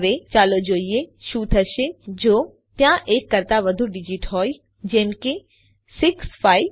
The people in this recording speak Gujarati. હવે ચાલો જોઈએ કે શું થશે જો ત્યાં એક કરતા વધુ ડીજીટ હોય જેમ કે 6543